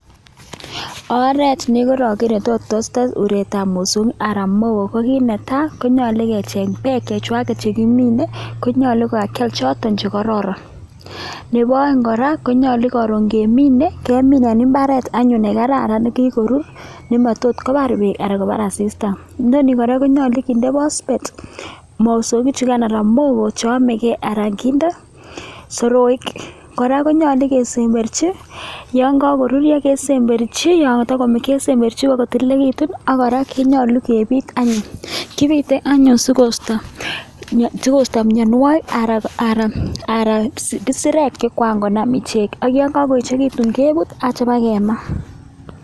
Oret ne kora agere kotos tes ruretap mosong'ik anan mogo ko kiit netai koyache kecheng' peek chechwaket chekimine konyolu kokial chooton chekororon. nebo aeng' kora konyolu karon kemine keminen mbaret anyun nakararan nekikorur nematot kobar peek ara kobar asista. kora konyolu kinde phosphate mosong'ik chutok anan komogo cheamegei ara kinda soroik, kora konyolu kesemberchi ya kakoruryo kesemberchi kotililitu ak kora konyolu kebiit anuyn, kibite anyun sikoisto mnyonwokik ara ara kisirek chekwangonam ichek ayakwangoechekitu kebut atcha pekemaa